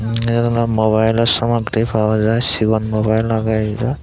yen oley mobile o samagri paba jai sigon mobile agey ita.